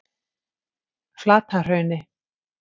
Flatahrauni